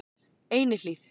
Einihlíð